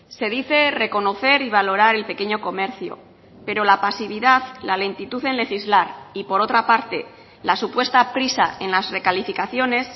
se dice reconocer y valorar el pequeño comercio pero la pasividad la lentitud en legislar y por otra parte la supuesta prisa en las recalificaciones